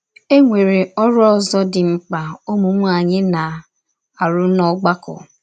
E nwere ọrụ ọzọ dị mkpa ụmụ nwaanyị na arụ n’ọgbakọ.